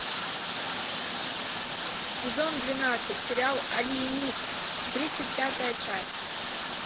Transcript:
сезон двенадцать сериал алиенист тридцать пятая часть